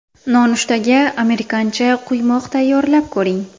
Nonushtaga amerikancha quymoq tayyorlab ko‘ring.